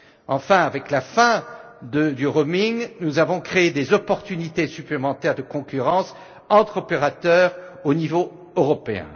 Enfin, avec la fin du roaming nous avons créé des opportunités supplémentaires de concurrence entre opérateurs au niveau européen.